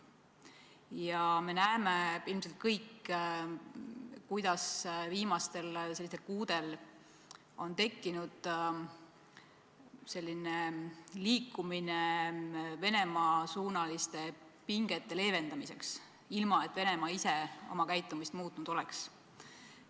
Ja me näeme ilmselt kõik, kuidas viimastel kuudel on tekkinud liikumine Venemaa-suunaliste pingete leevendamiseks, ilma et Venemaa ise oma käitumist muutnud oleks.